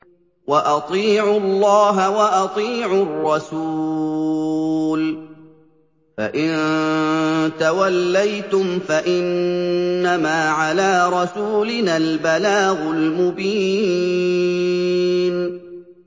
وَأَطِيعُوا اللَّهَ وَأَطِيعُوا الرَّسُولَ ۚ فَإِن تَوَلَّيْتُمْ فَإِنَّمَا عَلَىٰ رَسُولِنَا الْبَلَاغُ الْمُبِينُ